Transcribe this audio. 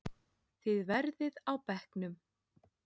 Þið verðið á bekknum!